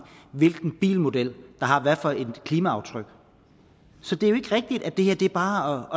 hvilken bilmodel der har hvilket klimaaftryk så det er jo ikke rigtigt at det her bare er